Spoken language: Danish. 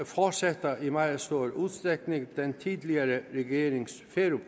fortsætter i meget stor udstrækning den tidligere regerings